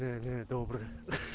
да да доброе